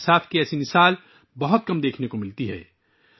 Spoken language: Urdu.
سماجی انصاف کی ایسی مثال کم ہی دیکھنے کو ملتی ہے